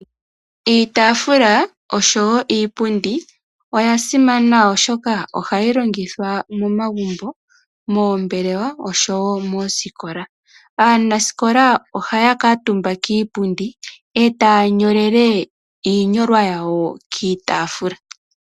Iitaafula oshowo iipundi oya simana, oshoka ohayi longitha momagumbo, moombelewa oshowo moosikola. Aanasikola ohaya kuutumba kiipundi etaya nyolele iinyolwa yawo kiitaafula.